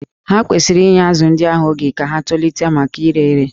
Ha kwesịrị inye azụ̀ ndị ahụ oge ka ha tolite maka ire ere